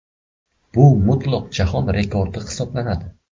Bu mutlaq jahon rekordi hisoblanadi.